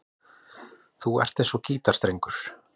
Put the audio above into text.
Þú ert eins og gítarstrengur.